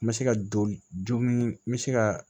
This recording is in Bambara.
N bɛ se ka joli n bɛ se ka